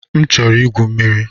M chọrọ igwu mmiri.